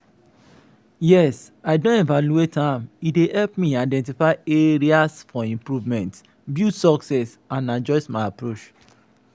yes i don evaluate am e dey help me identify areas for improvement build success and adjust my approach.